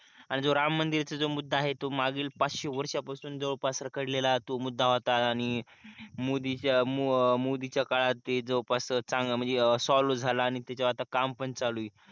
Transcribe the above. आणि जो राम मंदिराचा जो मुद्धा आहे तो मागील पाचशे वर्षांपासून जवळपास रखडलेला तो मुद्दा होता आणि मोदीच्या, मोदींच्या काळात ते जवळ पास चांगलं म्हणजे सॉल्व्हच झाला आणि त्याच्यावर आता काम पण चालू आहे.